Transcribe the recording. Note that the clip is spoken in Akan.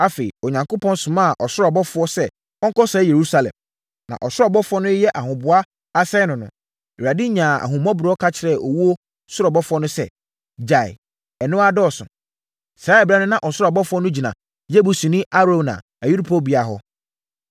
Afei, Onyankopɔn somaa ɔsoro ɔbɔfoɔ sɛ ɔnkɔsɛe Yerusalem. Na ɔsoro ɔbɔfoɔ no reyɛ ahoboa asɛe no no, Awurade nyaa ahummɔborɔ ka kyerɛɛ owuo soro ɔbɔfoɔ no sɛ, “Gyae! Ɛno ara dɔɔso!” Saa ɛberɛ no na ɔsoro ɔbɔfoɔ no gyina Yebusini Arauna ayuporobea hɔ.